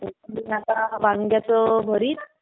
मी आता वांग्याचं भरीत.